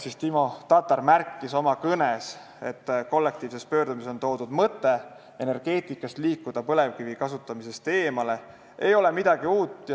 Timo Tatar märkis oma kõnes, et kollektiivses pöördumises toodud mõte, et energeetikas tuleks liikuda põlevkivi kasutamisest eemale, ei ole midagi uut.